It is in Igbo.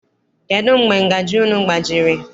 Kedụ mgbe ngajị unu gbajiri?